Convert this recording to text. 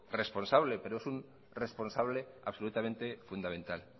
responsable pero es un responsable absolutamente fundamental